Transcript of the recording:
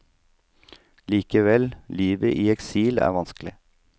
Likevel, livet i eksil er vanskelig.